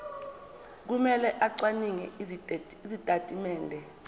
kumele acwaninge izitatimende